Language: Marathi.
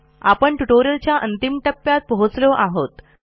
आपण ट्युटोरियलच्या अंतिम टप्प्यात पोहोचलो आहोत